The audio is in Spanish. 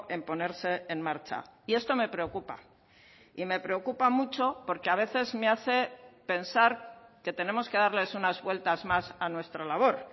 en ponerse en marcha y esto me preocupa y me preocupa mucho porque a veces me hace pensar que tenemos que darles unas vueltas más a nuestra labor